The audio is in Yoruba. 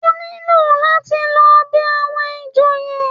Ó ní láti lọ bẹ àwọn ìjòyè